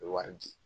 Bɛ wari di